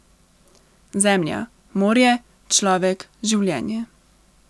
Zemlja, morje, človek, življenje.